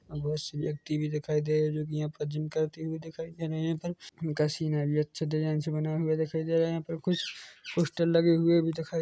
औ बहुत से व्यक्ति दिखाई दे रहे हैं जो कि यहाँ पे जीम करते हुए दिखाई दे रहे हैं यहाँ पर उनका सीना भी अच्छा डिजाइन से बना हुआ दिखाई दे रहा है यहाँ पर कुछ पोस्टर लगे हुए भी दिखाई--